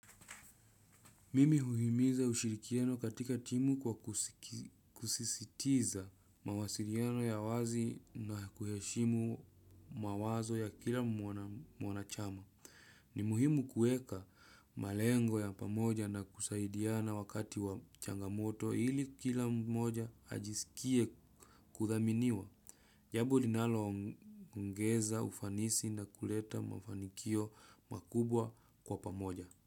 Mimi huhimiza ushirikiano katika timu kwa kusisitiza mawasilano ya wazi na kuheshimu mawazo ya kila mwanachama. Ni muhimu kuweka malengo ya pamoja na kusaidiana wakati wa changamoto ili kil mmoja ajisikie kuthaminiwa jambo linaloongeza ufanisi na kuleta mafanikio makubwa kwa pamoja.